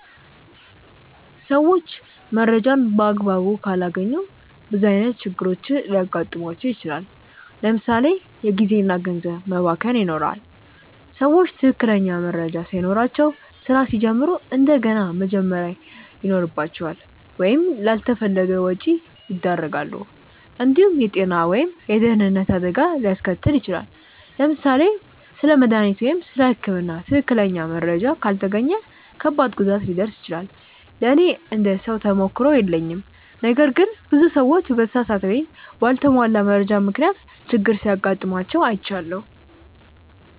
ሰዎች መረጃን በአግባቡ ካላገኙ ብዙ ዓይነት ችግሮች ሊገጥሟቸው ይችላል። ለምሳ ሌ የጊዜ እና ገንዘብ መባከን ይኖራል። ሰዎች ትክክለኛ መረጃ ሳይኖራቸው ስራ ሲጀምሩ እንደገና መጀመር ይኖርባቸዋል ወይም ላልተፈለገ ወጪ ያደርጋሉ። እንዲሁም የጤና ወይም የደህንነት አደጋ ሊያስከትል ይችላል። ለምሳሌ ስለ መድሃኒት ወይም ስለ ህክምና ትክክለኛ መረጃ ካልተገኘ ከባድ ጉዳት ሊደርስ ይችላል። ለእኔ እንደ ሰው ተሞክሮ የለኝም ነገር ግን ብዙ ሰዎች በተሳሳተ ወይም በአልተሟላ መረጃ ምክንያት ችግር ሲጋጥማቸው አይቻለሁ።